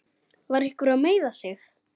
Var einhver að meiða sig?